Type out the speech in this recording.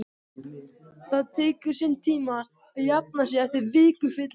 Það tekur sinn tíma að jafna sig eftir viku fyllerí